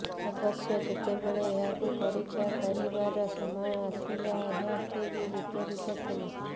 ଅବଶ୍ୟ ଯେତେବେଳେ ଏହାକୁ ପରୀକ୍ଷା କରିବାର ସମୟ ଆସିଲା ଏହା ଠିକ୍ ବିପରୀତ ଥିଲା